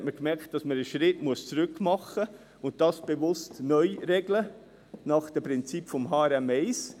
Da hat man gemerkt, dass man einen Schritt zurück machen und das bewusst neu regeln muss, nach den Prinzipien von HRM1.